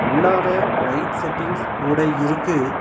உள்ளார light settings கூட இருக்கு.